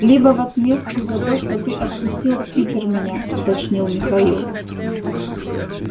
либо в отместку за то что ты отпустил в питер меня уточнил михаил